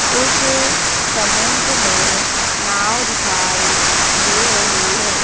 उस समुद्र में नाव दिखाई दे रहीं हैं।